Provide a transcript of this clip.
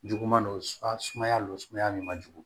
Juguman don a sumaya don sumaya min man jugu